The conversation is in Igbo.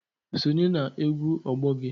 Sonye na-egwu ọgbọ gị!